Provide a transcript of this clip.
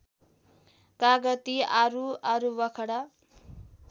कागती आरु आरुवखडा